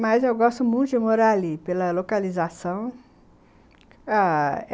Mas eu gosto muito de morar ali, pela localização, ah...